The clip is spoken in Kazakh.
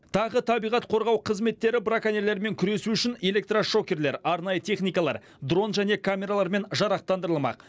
тағы табиғат қорғау қызметтері браконьерлермен күресу үшін электрошокерлер арнайы техникалар дрон және камералармен жарақтандырылмақ